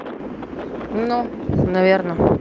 но наверно